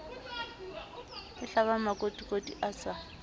e hlabang makotikoti a sa